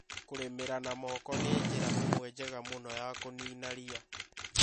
Kũrĩmĩra na moko nĩ njĩra ĩmwe njega mũno ya kũniina ria.